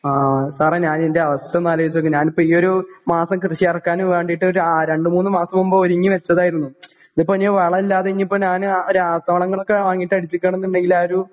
ആ സാറെ ഞാന് എൻ്റെ അവസ്ഥയൊന്ന് ആലോചിച്ചുനോക്ക് ഞാന്പ്പ ഈയൊരു മാസം കൃഷിയെറക്കാനും വേണ്ടീട്ട് രാ രണ്ടുമൂന്നു മാസംമുൻപ് ഒരുങ്ങിവെച്ചതാരുന്നു. ഇതിപ്പോ ഇനി വളവില്ലാതെ ഇനിപ്പോ ഞാന് ആ രാസവളങ്ങളൊക്കെ വാങ്ങിട്ട് അടിച്ചിക്കാണെന്നുണ്ടെങ്കില് ആഹ് ഒരു